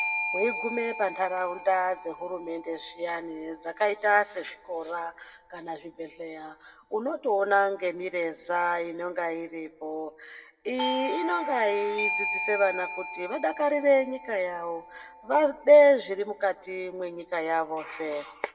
Weigume pantharaunda dzehurumende zviyani dzakaita sezvikora kana zvibhedhleya unotoona ngemireza inonga iripo. Iyi inonga yeidzidzise vana kuti vana vadakarire nyika yavo vade zviri mukati menyika yavozve.